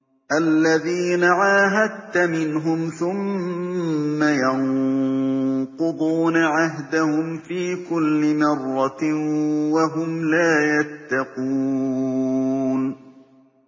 الَّذِينَ عَاهَدتَّ مِنْهُمْ ثُمَّ يَنقُضُونَ عَهْدَهُمْ فِي كُلِّ مَرَّةٍ وَهُمْ لَا يَتَّقُونَ